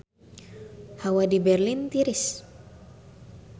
Hawa di Berlin tiris